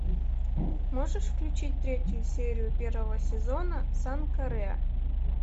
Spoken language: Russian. можешь включить третью серию первого сезона санка рэа